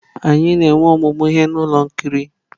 Anyị na-enwe ọmụmụ ihe na ụlọ ihe nkiri.